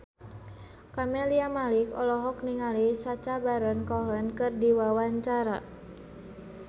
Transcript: Camelia Malik olohok ningali Sacha Baron Cohen keur diwawancara